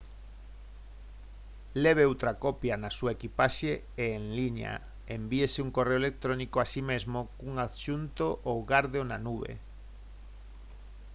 leve outra copia na súa equipaxe e en liña envíese un correo electrónico a si mesmo cun adxunto ou gárdeo na «nube»